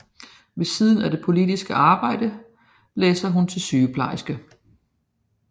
Ved siden af det politiske arbejde læser hun til sygeplejerske